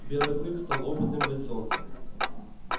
белый клык стал опытным бойцом